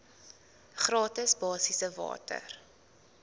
gratis basiese water